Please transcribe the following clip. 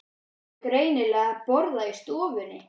Þau áttu greinilega að borða í stofunni.